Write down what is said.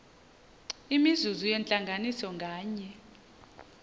imizuzu yentlanganiso nganye